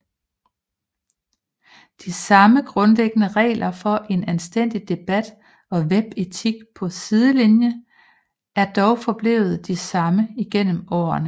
De samme grundlæggende regler for en anstændig debat og webetikette på Sidelinien er dog forblevet de samme igennem årene